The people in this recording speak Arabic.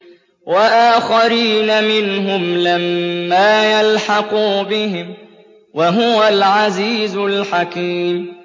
وَآخَرِينَ مِنْهُمْ لَمَّا يَلْحَقُوا بِهِمْ ۚ وَهُوَ الْعَزِيزُ الْحَكِيمُ